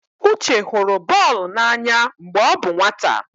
Uche hụrụ bọọlụ n'anya mgbe ọ bụ nwata.